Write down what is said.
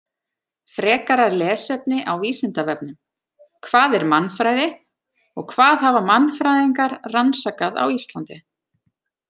Frekara lesefni á Vísindavefnum: Hvað er mannfræði og hvað hafa mannfræðingar rannsakað á Íslandi?